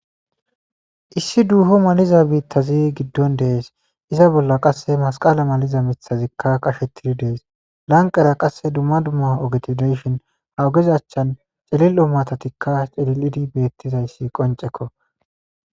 Issi duuho maliza biittazi giddon dees iza bolla qasse masqala maliza mithazikka qashettidi dees lanqera qasse dumma dumma ogeti deshin ha ogezachchan celil'o matatikka celilidi beettizayssi qoncekko.